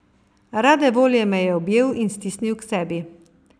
Rade volje me je objel in stisnil k sebi.